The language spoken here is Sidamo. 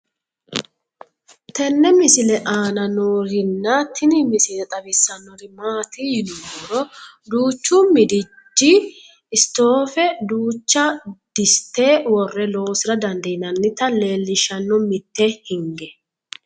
tenne misile aana noorina tini misile xawissannori maati yinummoro duuchchu midijji isittoffe duuchcha dissitte wore loosira dandiinnannitta leelishanno mitte hinge